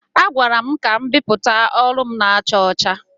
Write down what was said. A gwara m ka m bipụta ọrụ m na-acha ọcha.